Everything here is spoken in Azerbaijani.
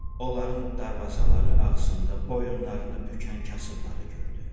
Onların darvazaları ağzında boyunlarını bükən kasıbları gördü.